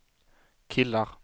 killar